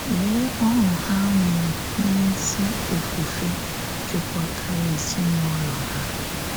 Lee ọṅụ ha nwere na ezi òfùfè jikọtara ezinụlọ ha!